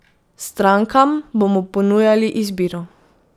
Strankam bomo ponujali izbiro.